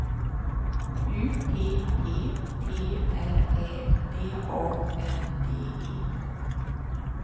U P P T R Ä D A N D E